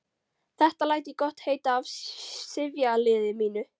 Þetta læt ég gott heita af sifjaliði mínu.